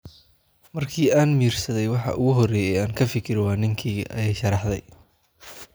"Markii aan miyirsaday, waxa ugu horreeya ee aan ka fikiro waa ninkeyga," ayay sharaxday.